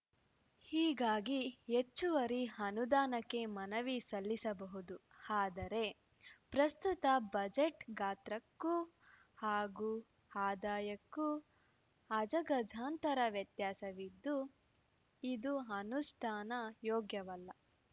ಹೀಗಾಗಿ ಹೆಚ್ಚುವರಿ ಅನುದಾನಕ್ಕೆ ಮನವಿ ಸಲ್ಲಿಸಬಹುದು ಆದರೆ ಪ್ರಸ್ತುತ ಬಜೆಟ್‌ ಗಾತ್ರಕ್ಕೂ ಹಾಗೂ ಆದಾಯಕ್ಕೂ ಅಜಗಜಾಂತರ ವ್ಯತ್ಯಾಸವಿದ್ದು ಇದು ಅನುಷ್ಠಾನ ಯೋಗ್ಯವಲ್ಲ